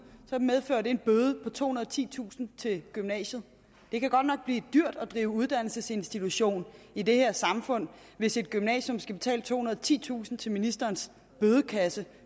så medfører det en bøde på tohundrede og titusind kroner til gymnasiet det kan godt nok blive lidt dyrt at drive uddannelsesinstitution i det her samfund hvis et gymnasium skal betale tohundrede og titusind kroner til ministerens bødekasse